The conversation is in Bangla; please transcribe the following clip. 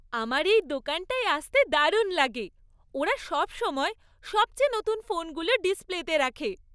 আমার এই দোকানটায় আসতে দারুণ লাগে। ওরা সবসময় সবচেয়ে নতুন ফোনগুলো ডিসপ্লেতে রাখে।